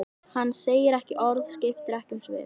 Hann segir ekki orð, skiptir ekki um svip.